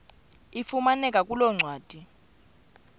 ifumaneka kule ncwadi